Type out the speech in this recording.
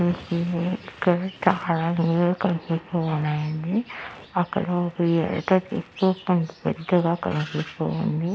ఇక్కడ చాలా వీడియో కనిపిస్తూ ఉన్నాయండి అక్కడ ఒక ఎక్విప్మెంట్ పెద్దగా కనిపిస్తూ ఉంది.